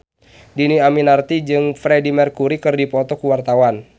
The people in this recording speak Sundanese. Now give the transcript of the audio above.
Dhini Aminarti jeung Freedie Mercury keur dipoto ku wartawan